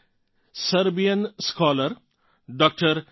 Momir Nikic Serbian scholar DR